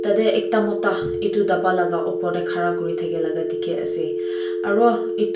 tarte ekta Mota etu dapbaa laga opor te khara kori thaka laga dekhi pai ase.